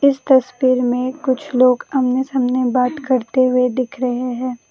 इस तस्वीर में कुछ लोग आमने सामने बात करते हुए दिख रहे हैं।